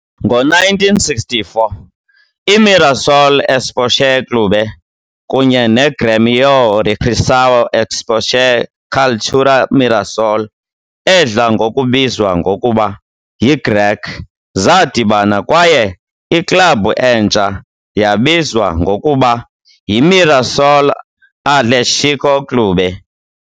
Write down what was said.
Ngo-1964, iMirassol Esporte Clube kunye neGrêmio Recreação Esporte Cultura Mirassol, edla ngokubizwa ngokuba yiGREC, zadibana, kwaye iklabhu entsha yabizwa ngokuba yiMirassol Atlético Clube.